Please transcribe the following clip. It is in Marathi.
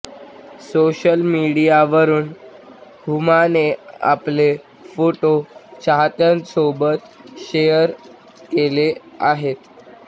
सोशल मीडियावरून हुमाने आपले फोटो चाहत्यांसोबत शेअर केले आहेत